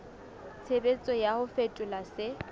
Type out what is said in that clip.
tshebetso ya ho fetola se